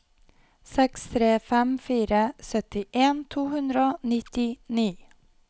seks tre fem fire syttien to hundre og nittini